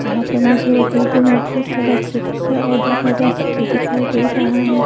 यहां पर मुझे वो बिल्डिंग में बहुत सारा खिड़कियां और दरवाजा सब भी दिखाई दे रहा है।